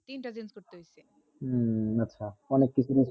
উম আচ্ছা অনেক কিছু